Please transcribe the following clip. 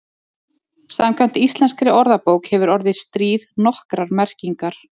Samkvæmt íslenskri orðabók hefur orðið stríð nokkrar merkingar.